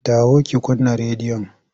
Dawo ki kunna rediyon!